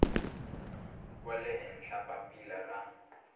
wa le henhla papila ra